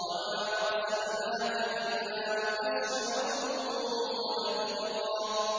وَمَا أَرْسَلْنَاكَ إِلَّا مُبَشِّرًا وَنَذِيرًا